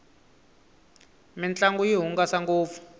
mintlangu yi hungasa ngopfu